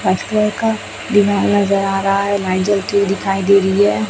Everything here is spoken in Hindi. दीवाल नजर आ रहा है दिखाई दे रही है।